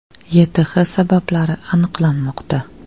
YTH sabablari aniqlanmoqda.